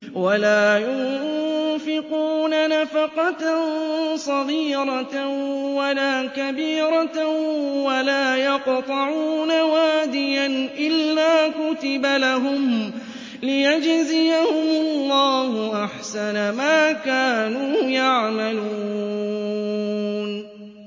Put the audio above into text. وَلَا يُنفِقُونَ نَفَقَةً صَغِيرَةً وَلَا كَبِيرَةً وَلَا يَقْطَعُونَ وَادِيًا إِلَّا كُتِبَ لَهُمْ لِيَجْزِيَهُمُ اللَّهُ أَحْسَنَ مَا كَانُوا يَعْمَلُونَ